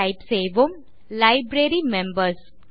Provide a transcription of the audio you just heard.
type செய்வோம் library members